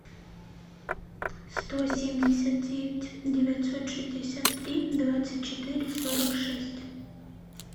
сто семьдесят девять девятьсот шестьдесят три двадцать четыре сорок шесть